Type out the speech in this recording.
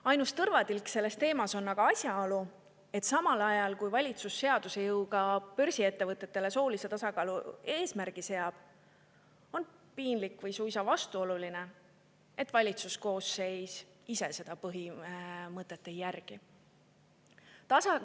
Ainus tõrvatilk selle teema juures on aga asjaolu, et samal ajal, kui valitsus seaduse jõuga börsiettevõtetele soolise tasakaalu eesmärgi seab, on piinlik või suisa vastuoluline, et valitsus ise seda põhimõtet ei järgi.